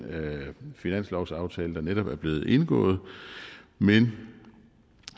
finanslovsaftale der netop er blevet indgået men